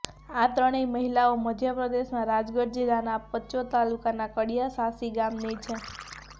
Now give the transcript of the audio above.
આ ત્રણેય મહીલાઓ મધ્યપ્રદેશના રાજગઢ જિલ્લાના પચોર તાલુકાના કડીયા શાસી ગામની છે